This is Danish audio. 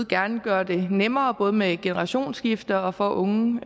gerne gøre det nemmere både med generationsskifte og for unge